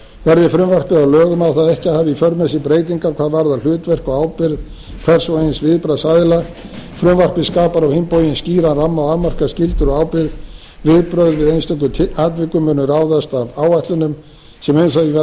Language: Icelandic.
verði frumvarpið að lögum á það ekki að hafa í för með sér breytingar hvað varðar hlutverk og ábyrgð hvers og eins viðbragðsaðila frumvarpið skapar á hinn bóginn skýran ramma og afmarkar skyldur og ábyrgð viðbrögð við einstökum atvikum munu ráðast af áætlunum sem um